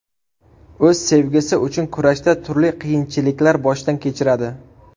O‘z sevgisi uchun kurashda turli qiyinchiliklar boshdan kechiradi.